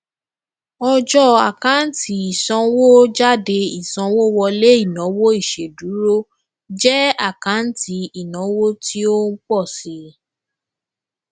ọjọ àkáǹtì ìsanwójáde ìsanwówọlé ìnáwó ìṣèdúró jẹ àkáǹtì ìnáwó tí ó ń pọ síi